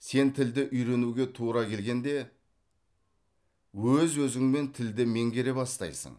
сен тілді үйренуге тура келгенде өз өзіңмен тілді меңгере бастайсың